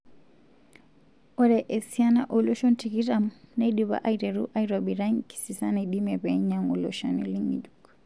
Ore esiana oloshon tikitam neidipa aiteru aitobira enkisisa naidimie penyangu iloshani ngejuk.